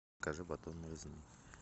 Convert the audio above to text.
закажи батон нарезной